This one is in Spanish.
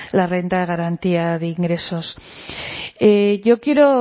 la renta de garantía de ingresos y yo quiero